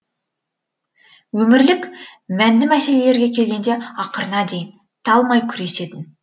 өмірлік мәнді мәселелерге келгенде ақырына дейін талмай күресетін